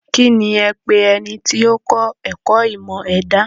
Kíni ẹ̀ ń pe ẹni tó kọ́ ẹ̀kọ́ ìmọ̀ ẹ̀dà?